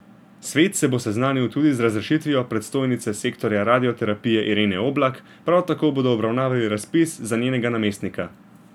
Svet se bo seznanil tudi z razrešitvijo predstojnice sektorja radioterapije Irene Oblak, prav tako bodo obravnavali razpis za njenega namestnika.